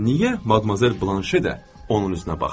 Amma niyə Madmazel Blanşe də onun üzünə baxmır?